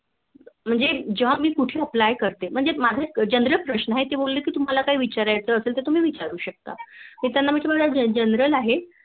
म्हणजे जेव्हा मी कुठं Apply करते म्हणजे माझा ऐक General प्रश्न आहे ते बोलले मला कि तुम्हाला काही विव्हरायच बसेल तर तुम्ही विचारू शकता तर मी त्याना विचारलं General